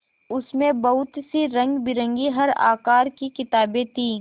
उसमें बहुत सी रंगबिरंगी हर आकार की किताबें थीं